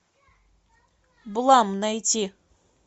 блам найти